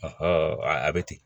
a bɛ ten